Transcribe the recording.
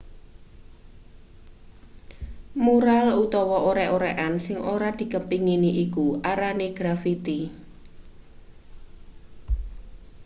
mural utawa orek-orekan sing ora dikepengini iku arane grafiti